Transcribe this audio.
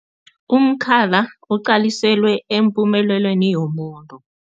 Umkhala uqaliselwe empumelelweni yomuntu.